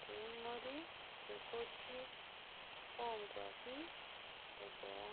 peengg'ori te koti eonkwampi eboo